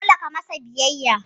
Dole ka masa biyayya.